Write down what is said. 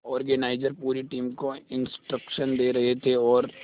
organiser पूरी team को instruction दे रहे थे और